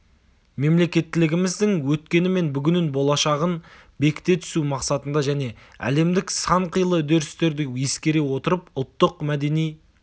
мемлекеттілігіміздің өткені мен бүгінін болашағын бекіте түсу мақсатында және әлемдік санқилы үдерістерді ескере отырып ұлттық мәдени